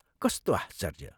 कस्तो आश्चर्य।